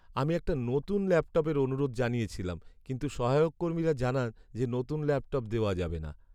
আমি একটা নতুন ল্যাপটপের অনুরোধ জানিয়েছিলাম কিন্তু সহায়ক কর্মীরা জানান যে নতুন ল্যাপটপ দেওয়া যাবে না।